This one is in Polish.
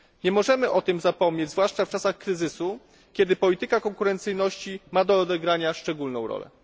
Nie możemy o tym zapominać, zwłaszcza w czasach kryzysu, kiedy polityka konkurencyjności ma do odegrania szczególną rolę.